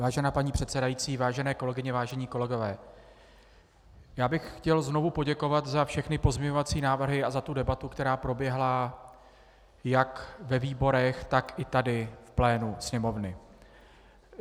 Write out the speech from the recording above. Vážená paní předsedající, vážené kolegyně, vážení kolegové, já bych chtěl znovu poděkovat za všechny pozměňovací návrhy a za tu debatu, která proběhla jak ve výborech, tak i tady v plénu Sněmovny.